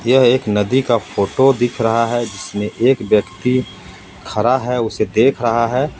यह एक नदी का फोटो दिख रहा हे जिसमे एक व्यक्ति खड़ा हे उसे देख रहा हे.